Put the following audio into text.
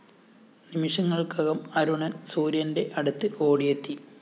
നിമിഷങ്ങള്‍ക്കകം അരുണന്‍ സൂര്യന്റെ അടുത്ത് ഓടിയെത്തി